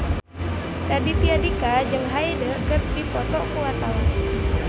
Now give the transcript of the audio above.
Raditya Dika jeung Hyde keur dipoto ku wartawan